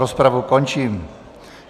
Rozpravu končím.